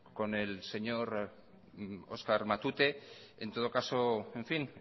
con el señor óscar matute en todo caso en fin